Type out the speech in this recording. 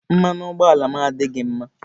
Mmanụ ụgbọ ala m adịghị mma